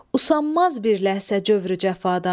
Usanmaz bir ləhzə cövrü-cəfadan.